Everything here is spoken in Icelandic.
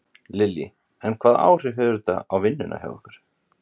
Lillý: En hvaða áhrif hefur þetta á vinnuna hjá ykkur?